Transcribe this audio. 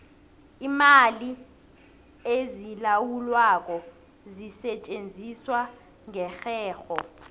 iimali ezilawulwako zisetjenziswa ngerherho